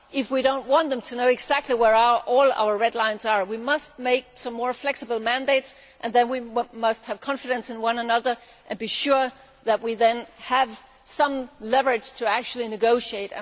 If we do not want them to know exactly where all our red lines are, we must make some more flexible mandates, and then we must have confidence in one another and be sure that we then have some leverage to negotiate.